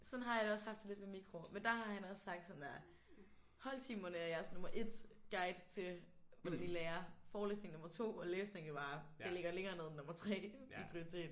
Sådan har jeg det også haft det lidt med mikro men der har han også sagt sådan der holdtimerne er jeres nummer 1 guide til hvordan I lærer forelæsningerne er nummer 2 og læsningen er bare det ligger længere nede end nummer 3 i prioritet